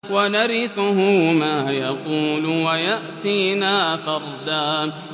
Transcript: وَنَرِثُهُ مَا يَقُولُ وَيَأْتِينَا فَرْدًا